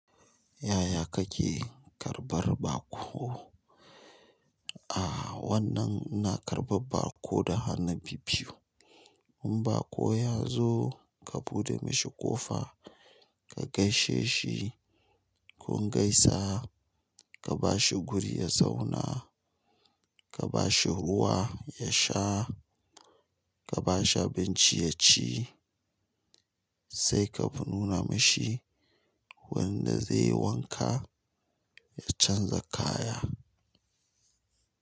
Yaya kake karɓar baƙo? A wannan ina karɓar baƙo da hannu bibbiyu. In baƙo ya zo, ka buɗe mashi ƙofa, ka gaishe shi. Kun gaisa, ka bashi guri ya zauna, ka bashi ruwa ya sha, ka bashi abinci ya ci, sai ka nuna mashi wanda zai yi wanka ya canza kaya.